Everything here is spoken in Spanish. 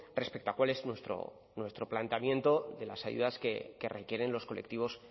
respecto a cuál es nuestro planteamiento de las ayudas que requieren los colectivos